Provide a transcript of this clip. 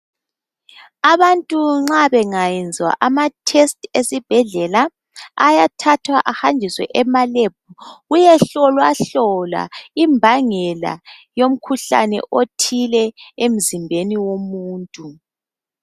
Abantu nxa bengayenzwa amathesti esibhedlela, ayathathwa ehanjiswe emalebhu kuyehlolwahlolwa imbangela yomkhuhlane othile emzimbeni womuntu.